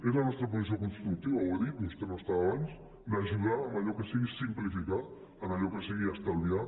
és la nostra posició constructiva ho he dit vostè no hi era abans d’ajudar en allò que sigui simplificar en allò que sigui estalviar